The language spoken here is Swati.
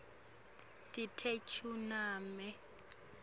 letekuchumana